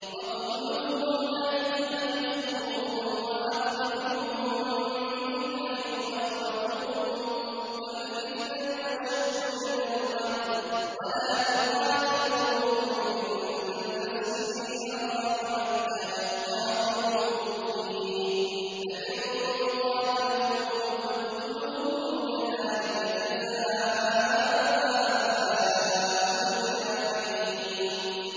وَاقْتُلُوهُمْ حَيْثُ ثَقِفْتُمُوهُمْ وَأَخْرِجُوهُم مِّنْ حَيْثُ أَخْرَجُوكُمْ ۚ وَالْفِتْنَةُ أَشَدُّ مِنَ الْقَتْلِ ۚ وَلَا تُقَاتِلُوهُمْ عِندَ الْمَسْجِدِ الْحَرَامِ حَتَّىٰ يُقَاتِلُوكُمْ فِيهِ ۖ فَإِن قَاتَلُوكُمْ فَاقْتُلُوهُمْ ۗ كَذَٰلِكَ جَزَاءُ الْكَافِرِينَ